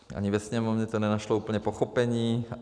Ani ve Sněmovně to nenašlo úplně pochopení.